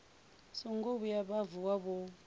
songo vhuya vha vuwa vho